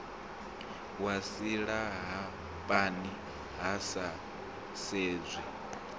wa silahapani hu sa sedzwi